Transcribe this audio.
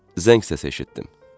Zəng səsi eşitdim.